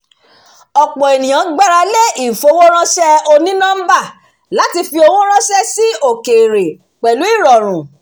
ọ̀pọ̀ ènìyàn gbarale ifowóránṣẹ́ onínọ́mbà láti fi owó ránṣẹ́ sí òkèèrè pẹ̀lú ìrọ̀rùn